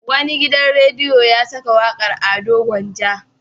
Wani gidan rediyo ya saka wakar Ado Gwanja.